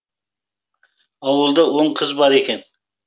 ауылда он қыз бар екен